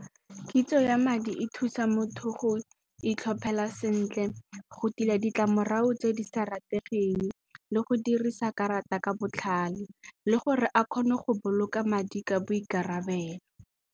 Kitso ya madi e thusa motho go itlhophela sentle, go tila ditlamorago tse di sa rategeng le go dirisa karata ka botlhale le gore a kgone go boloka madi ka boikarabelo.